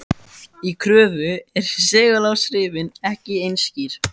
Í Kröflu eru seguláhrifin ekki eins skýr.